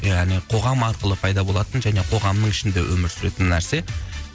яғни қоғам арқылы пайда болатын және қоғамның ішінде өмір сүретін нәрсе